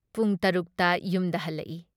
ꯄꯨꯡ ꯇꯔꯨꯛ ꯇ ꯌꯨꯝꯗ ꯍꯜꯂꯛꯏ ꯫